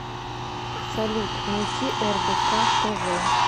салют найти рбк тв